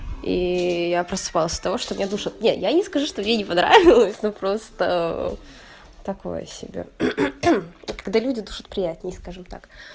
и я просыпалась от того что меня душат нет я не скажу что мне не понравилось но просто такого себе когда люди душат приятнее скажем так